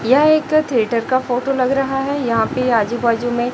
यह एक थिएटर का फोटो लग रहा है यहां पे आजू बाजू में--